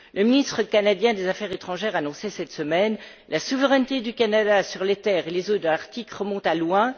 Le ministre canadien des affaires étrangères annonçait cette semaine la souveraineté du Canada sur les terres et les eaux de l'Arctique remonte loin